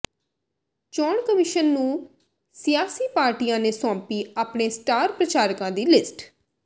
ਚੋਣ ਕਮਿਸ਼ਨ ਨੂੰ ਸਿਆਸੀ ਪਾਰਟੀਆਂ ਨੇ ਸੌਂਪੀ ਆਪਣੇ ਸਟਾਰ ਪ੍ਰਚਾਰਕਾਂ ਦੀ ਲਿਸਟ